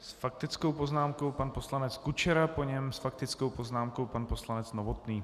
S faktickou poznámkou pan poslanec Kučera, po něm s faktickou poznámkou pan poslanec Novotný.